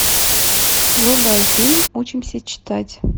врубай фильм учимся читать